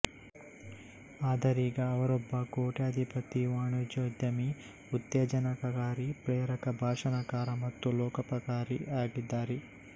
ಆದರೀಗ ಅವರೊಬ್ಬ ಕೋಟ್ಯಾಧಿಪತಿ ವಾಣಿಜ್ಯೋದ್ಯಮಿಉತ್ತೇಜನಕಕಾರಿ ಪ್ರೇರಕ ಭಾಷಣಕಾರ ಮತ್ತು ಲೋಕೋಪಕಾರಿ ಯಾಗಿದ್ದಾರೆ